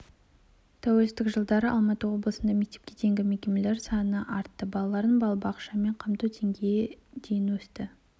тәуелсіздік жылдары алматы облысында мектепке дейінгі мекемелер саны дейін артты балаларды балабақшамен қамту деңнгейі дейін өсті